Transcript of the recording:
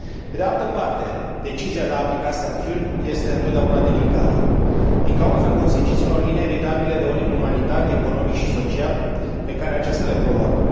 Pe de altă parte, decizia de a aplica sancțiuni este întotdeauna delicată, din cauza consecințelor inevitabile de ordin umanitar, economic și social pe care aceasta le provoacă.